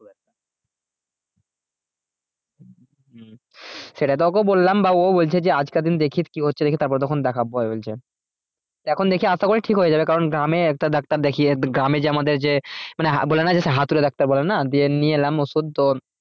সেটা তো ওকে বললাম বাবুও বলছে যে আজকের দিন দেখি কি হচ্ছে দেখি দিয়ে তারপরে তখন দেখাবো ওই বলছে এখন দেখি আশা করি ঠিক হয়ে যাবে কারণ গ্রামে একটা ডাক্তার দেখিয়ে গ্রামে যে আমাদের যে মানে হা বলে না যে সেই হাতুড়ে ডাক্তার বলে না দিয়ে নিয়ে এলাম ওষুধ তো